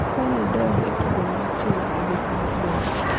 akwayi ni idog e tugo mantie e buk mar duol